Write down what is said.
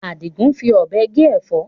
Adigun ń fi Ọ̀bẹ gé Ẹ̀fọ́